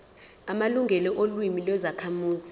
amalungelo olimi lwezakhamuzi